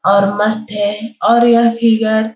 और मस्त है और यह फिगर --